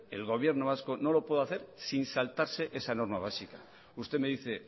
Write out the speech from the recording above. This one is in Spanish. el gobierno vasco no lo puede hacer sin saltarse esa norma básica usted me dice